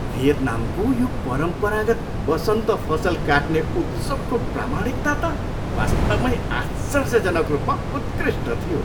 भियतनामको यो परम्परागत बसन्त फसल काट्ने उत्सवको प्रामाणिकता त वास्तवमै आश्चर्यजनक रूपमा उत्कृष्ट थियो।